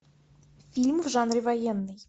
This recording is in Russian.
фильм в жанре военный